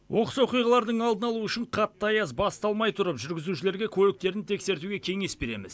оқыс оқиғалардың алдын алу үшін қатты аяз басталмай тұрып жүргізушілерге көліктерін тексертуге кеңес береміз